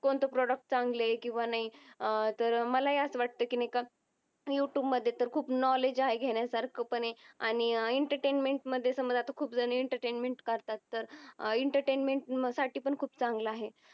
कोणत प्रोडक्ट् चांगल आहे किव्हा नाही, तर मला अस वाटतंय कि युटूब मधे तर खूप knowledge आहे घेण्या सारखं आहे पण आणि एंटरटेनमेंट मधे समझा खूप जन एंटरटेनमेंट करतात. एंटरटेनमेंट साटी खूप चांगल आहे.